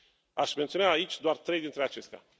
Aș menționa aici doar trei dintre acestea.